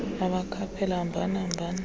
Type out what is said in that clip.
ebakhaphela hambani hambani